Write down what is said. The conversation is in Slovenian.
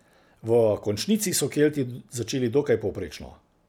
V končnici so Kelti začeli dokaj povprečno.